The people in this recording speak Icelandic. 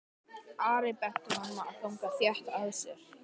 Ari benti honum að ganga þétt að sér.